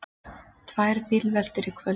Tvær bílveltur í kvöld